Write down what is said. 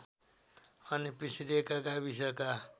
अन्य पिछडिएका गाविसका